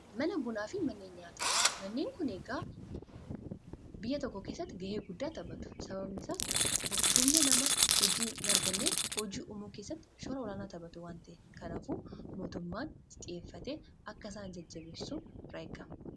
Mana Bunaa fi manneen nyaataa manneen kun egaa biyya tokko keessatti ga'ee guddaa taphatu. Sababni isaas humna namaa hojii hinarganneef hojii uumuu keessatti shoora olaanaa taphatu waanta ta'eefi. Kanaafuu mootummaan xiyyeeffatee akka isaan jajjabeessu irraa eegama.